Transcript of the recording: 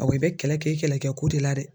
Awɔ i bɛ kɛlɛ kɛ i kɛlɛkɛko de la dɛ